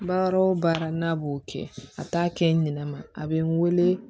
Baara o baara n'a b'o kɛ a t'a kɛ nɛnɛ ma a bɛ n weele